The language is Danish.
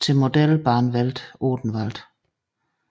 til Modellbahnwelt Odenwald